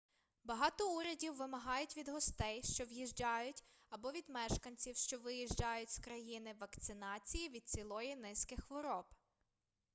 багато урядів вимагають від гостей що в'їжджають або від мешканців що виїжджають з країни вакцинації від цілої низки хвороб